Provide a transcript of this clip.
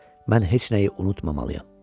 Mən heç nəyi unutmamalıyam.